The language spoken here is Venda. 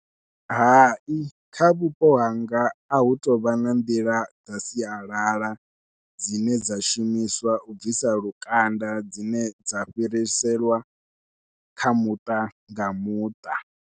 Hai kha vhupo hanga a hu tou vha na nḓila dza sialala dzine dza shumiswa u bvisa lukanda dzine dza fhiriselwa kha muṱa nga muṱa.